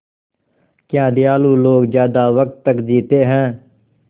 क्या दयालु लोग ज़्यादा वक़्त तक जीते हैं